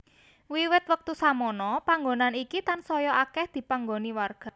Wiwit wektu samono panggonan iki tansaya akèh dipanggoni warga